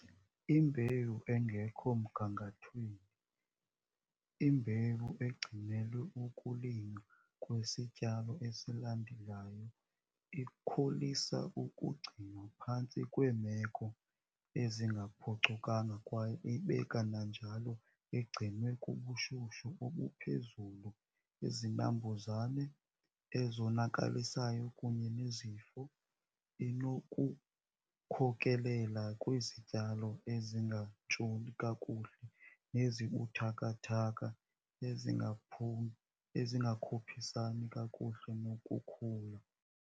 Imbewu engekho mgangathweni, imbewu egcinelwe ukulinywa kwesityalo esilandelayo ikholisa ukugcinwa phantsi kweemeko ezingaphucukanga kwaye ibe kananjalo igcinwe kubushushu obuphezulu, izinambuzane ezonakalisayo kunye nezifo, inokukhokelela kwizityalo ezingantshuli kakuhle nezibuthakathaka ezingakhuphisani kakuhle nokhula.